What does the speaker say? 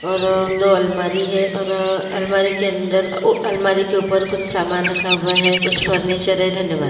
और दो अलमारी है और अलमारी के अंदर अलमारी के ऊपर कुछ सामान रखा हुआ है कुछ फर्नीचर है धन्यवाद।